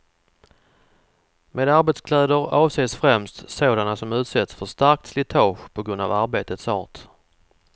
Med arbetskläder avses främst sådana som utsätts för starkt slitage på grund av arbetets art.